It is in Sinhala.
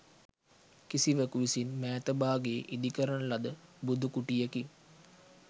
කිසිවකු විසින් මෑත භාගයේ ඉදිකරන ලද බුදු කුටියකි.